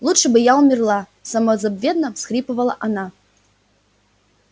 лучше бы я умерла самозабвенно всхлипывала она